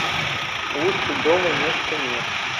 лучше дома места нет